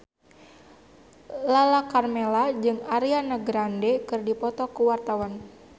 Lala Karmela jeung Ariana Grande keur dipoto ku wartawan